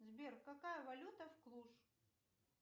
сбер какая валюта в клуш